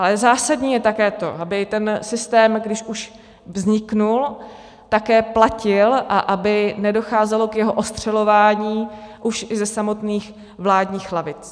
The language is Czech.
Ale zásadní je také to, aby ten systém, když už vznikl, také platil a aby nedocházelo k jeho ostřelování už i ze samotných vládních lavic.